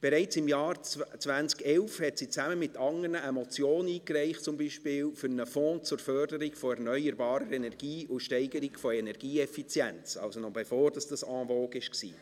Bereits im Jahr 2011 reichte sie mit anderen zum Beispiel eine Motion für einen «Fonds zur Förderung erneuerbaren Energien und zur Steigerung der Energieeffizienz [...]» ein, also noch bevor das en vogue war.